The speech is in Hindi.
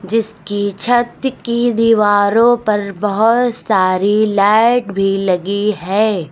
इसकी छत की दीवारों पर बहुत सारी लाइट भी लगी है।